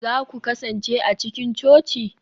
za ku kasance a cikin coci?